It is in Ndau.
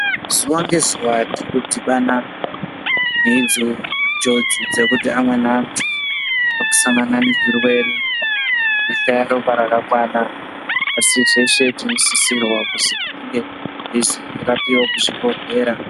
Zuwa ngezuwa tirikudhibhana nenjodzi idzo dzekuti amweni antu arikusangana nezvirwere zvekushaya ropa rakakwana asi zveshe tinosisirwa kuti tinonga teizorapiwe kuzvibhehlera.